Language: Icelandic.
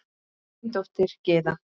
Þín dóttir, Gyða.